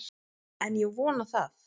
En ég vona það!